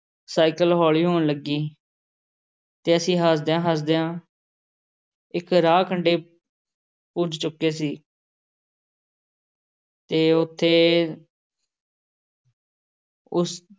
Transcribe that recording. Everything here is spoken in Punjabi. ਸਾਈਕਲ ਹੌਲੀ ਹੋਣ ਲੱਗੀ ਅਤੇ ਅਸੀਂ ਹਾਰਦਿਆਂ ਹਾਰਦਿਆਂ ਇੱਕ ਰਾਹ ਕੰਢੇ ਪੁੱਜ ਚੁੱਕੇ ਸੀ ਅਤੇ ਉੱਥੇ ਉਸ